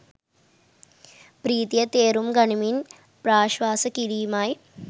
ප්‍රීතිය තේරුම් ගනිමින් ප්‍රශ්වාස කිරීමයි